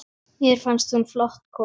Mér fannst hún flott kona.